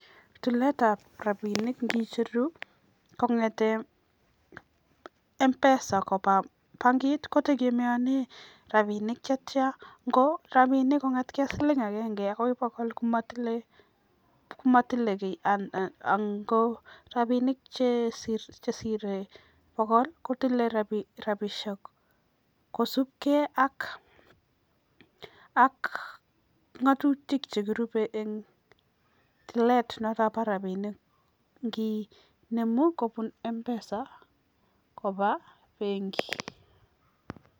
Yulet ab rabinik kotegemeanen rabinik ngicheruu kongeten mpesa Koba bankit kotegemeanen rabinik chechang korabinik kongatgei ak siling agenge komatile give ango rabinik Cheshire bokol kotile rabinik kosubegei ako ngatutik chekirube en toilet noton Bo rabinik nginemu kobun mpesa Koba benkit